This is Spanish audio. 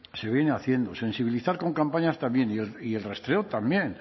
se viene haciendo sensibilizar con campañas también y el rastreo también